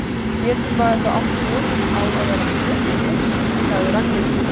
Getur maður þá átt von á að verða fleygt út? sagði Ragnhildur.